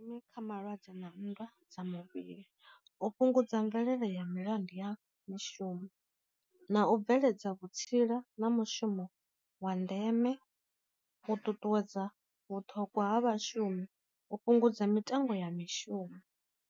Nṋe kha malwadze na nndwa dza muvhili, u fhungudza mvelele ya milandu ya mishumo, na u bveledza vhutsila na mushumo wa ndeme, u ṱuṱuwedza vhuṱhogwa ha vhashumi u fhungudza mitengo ya mishumo.